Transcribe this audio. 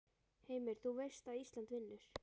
Heimir: Þú veist að Ísland vinnur?